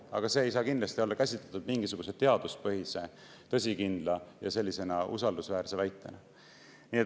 Aga seda ei saa kindlasti käsitleda mingisuguse teaduspõhise, tõsikindla ja usaldusväärse väitena.